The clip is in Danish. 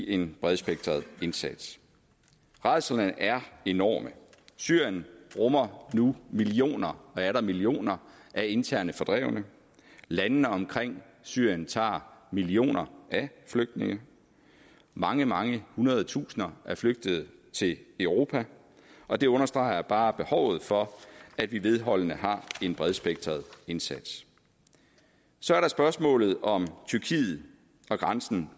en bredspektret indsats rædslerne er enorme syrien rummer nu millioner og atter millioner af internt fordrevne landene omkring syrien tager millioner af flygtninge mange mange hundrede tusinder er flygtet til europa og det understreger bare behovet for at vi vedholdende har en bredspektret indsats så er der spørgsmålet om tyrkiet og grænsen